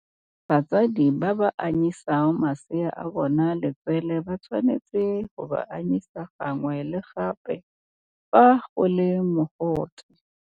Batsadi ba ba anyisang masea a bona letswele ba tshwanetse go ba anyisa gangwe le gape fa go le mogote.